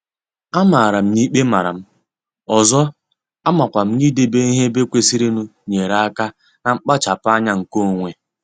Amara m n'ikpe maram, ọzọ, amakwam n'idebe ihe ebe kwesịrịnụ nyere aka na nkpachapu anya nke onwe.